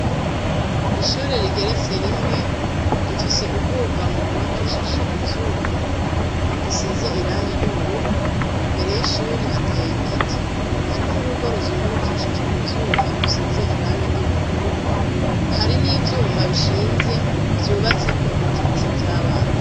Ishure rigeretse rimwe rifise ubwugamo gubakishije ivyuma risize irangi ry'ubururu imbere y'ishuri hateye igiti hari n'urugo ruzungurukishijwe ivyuma rusize irangi ry'ubururu hari n'ivyuma bishinze vyubatseko ibikinisho vy'abantu.